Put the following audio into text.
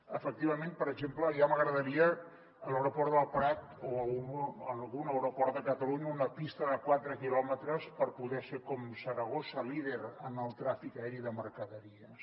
efectivament per exemple ja m’agradaria a l’aeroport del prat o en algun aeroport de catalunya una pista de quatre quilòmetres per poder ser com saragossa líder en el tràfic aeri de mercaderies